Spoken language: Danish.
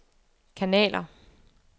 kanaler